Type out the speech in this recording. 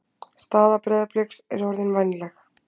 Staða Breiðabliks er orðin vænleg